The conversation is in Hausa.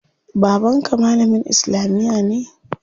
Baban ka malamin islamiya ne?